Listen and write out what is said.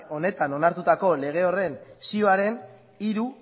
honetan onartutako lege horren zioaren hiru